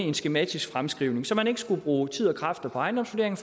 en skematisk fremskrivning så man ikke skulle bruge tid og kræfter på ejendomsvurderingen